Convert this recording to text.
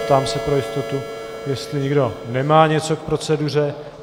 Ptám se pro jistotu, jestli někdo nemá něco k proceduře.